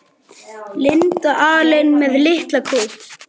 Stytt upp